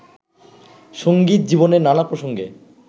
সঙ্গীত জীবনের নানা প্রসঙ্গে